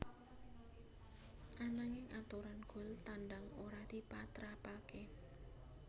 Ananging aturan gol tandang ora dipatrapaké